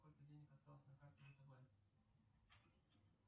сколько денег осталось на карте втб